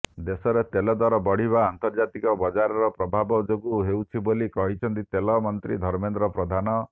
ଦେଶରେ ତେଲଦର ବଢିବା ଅନ୍ତର୍ଜାତୀୟ ବଜାରର ପ୍ରଭାବ ଯୋଗୁଁ ହେଉଛି ବୋଲି କହିଛନ୍ତି ତେଲ ମନ୍ତ୍ରୀ ଧର୍ମେନ୍ଦ୍ର ପ୍ରଧାନ